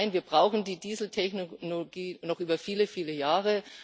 Nein, wir brauchen die Dieseltechnologie noch über viele, viele Jahre.